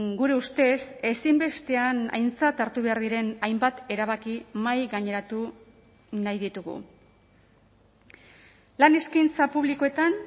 gure ustez ezinbestean aintzat hartu behar diren hainbat erabaki mahaigaineratu nahi ditugu lan eskaintza publikoetan